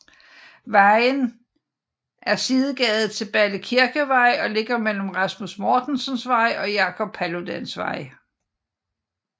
Vejen er sidegade til Balle Kirkevej og ligger mellem Rasmus Mortensens Vej og Jacob Paludans Vej